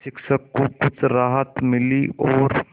शिक्षक को कुछ राहत मिली और